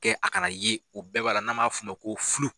Kɛ a kana yen, o bɛɛ b'a la, n'an m'a f'o ma ko